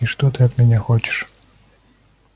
и что ты от меня хочешь